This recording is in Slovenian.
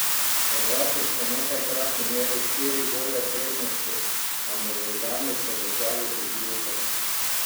Hrvati so nekajkrat imeli štiri gole prednosti, a Norvežani so držali priključek.